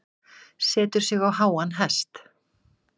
Setur sig á háan hest.